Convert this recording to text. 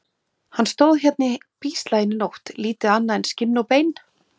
. hann stóð hérna í bíslaginu í nótt, lítið annað en skinn og bein.